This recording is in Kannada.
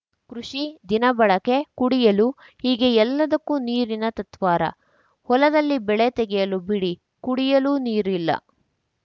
ಕೃಷಿ ದಿನಬಳಕೆ ಕುಡಿಯಲು ಹೀಗೆ ಎಲ್ಲದಕ್ಕೂ ನೀರಿನ ತತ್ವಾರ ಹೊಲದಲ್ಲಿ ಬೆಳೆ ತೆಗೆಯಲು ಬಿಡಿ ಕುಡಿಯಲೂ ನೀರಿಲ್ಲ